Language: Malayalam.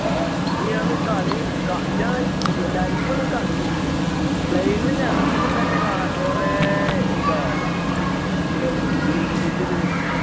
ലൈവ് ഒന്ന് കണ്ടു നോക്ക് ഇജ്ജ് plane ഇൽ നിന്ന് ഇറങ്ങുമ്പോ തന്നെ കാണാ കുറെ എന്താ kill ന്റെ ഇത് വരണു